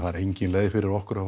er engin leið fyrir okkur að